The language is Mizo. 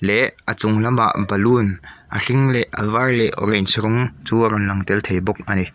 leh a chung lamah balloon a hring leh a var leh orange rawng chu a rawn lang tel thei bawk a ni.